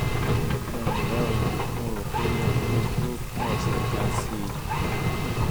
ẹ ǹlẹ́ o mo rò pé ó yẹ kí odúró fún ọ̀sẹ̀ kan sí i